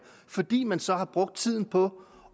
fordi man så havde brugt tiden på